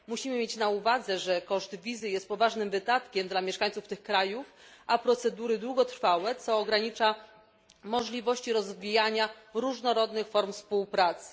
Musimy mieć na uwadze, że koszt wizy jest poważnym wydatkiem dla mieszkańców tych krajów, a procedury są długotrwałe, co ogranicza możliwości rozwijania różnorodnych form współpracy.